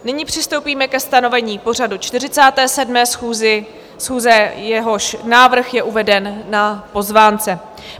Nyní přistoupíme ke stanovení pořadu 47. schůze, jehož návrh je uveden na pozvánce.